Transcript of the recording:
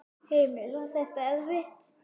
Heimir: Var þetta erfitt?